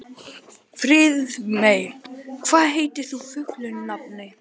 Friðmey, hvað heitir þú fullu nafni?